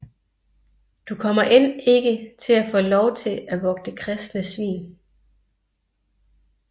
Du kommer end ikke at få lov til at vogte kristne svin